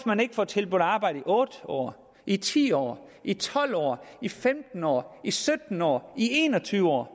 man ikke får tilbudt arbejde i otte år i ti år i tolv år i femten år i sytten år i en og tyve år